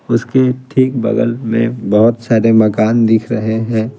उसके ठीक बगल में बहुत सारे मकान दिख रहे हैं।